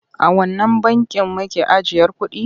A wannan bankin make ajiyar kuɗi?